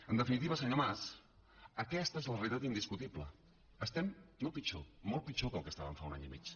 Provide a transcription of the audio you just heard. en definitiva senyor mas aquesta és la realitat indiscutible estem no pitjor molt pitjor del que estàvem fa un any i mig